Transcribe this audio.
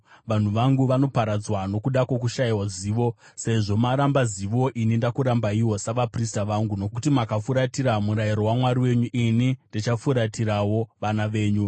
Vanhu vangu vanoparadzwa nokuda kwokushayiwa zivo. “Sezvo maramba zivo, ini ndinokurambaiwo savaprista vangu; nokuti makashayira hanya murayiro waMwari wenyu, ini ndichashayirawo hanya vana venyu.